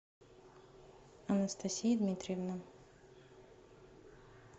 анастасия дмитриевна